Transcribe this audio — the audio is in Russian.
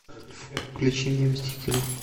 включи мне мстители